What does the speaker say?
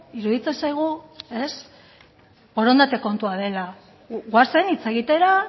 iruditzen zaigu borondate kontua dela goazen hitz egitera